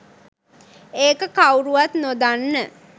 ඒක කවුරුවත් නොදන්න